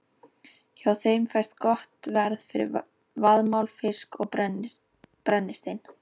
Hjá þeim fæst gott verð fyrir vaðmál, fisk og brennistein.